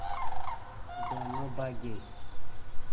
दोनों भागे